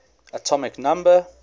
atomic number